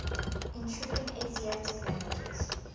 intruding asiatic languages